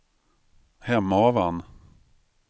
Hemavan